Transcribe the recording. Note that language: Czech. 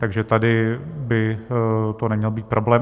Takže tady by to neměl být problém.